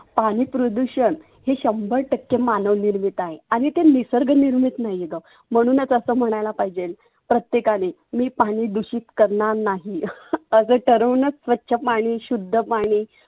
पाणि प्रदुषन हे शंभर टक्के मानव निर्मित आहे. आणि ते निसर्ग निर्मीत नाहीए ग म्हणूनच असं म्हणायला पाहिजे प्रत्येकाने मी पाणि दुषीत करणार नाही. आग ठरवूनच स्वच्छ पाणि शुद्ध पाणि.